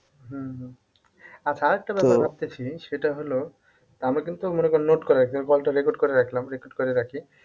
উম হম আচ্ছা আরেকটা কথা ভাবতেছি সেটা হলো আমি কিন্তু মনে করে নোট করে রাখি আমি call টা record করে রাখলাম record করে রাখি